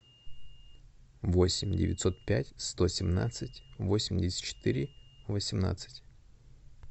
восемь девятьсот пять сто семнадцать восемьдесят четыре восемнадцать